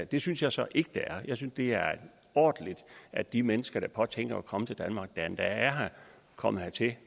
det synes jeg så ikke det er jeg synes det er ordentligt at de mennesker der påtænker at komme til danmark eller som endda er kommet hertil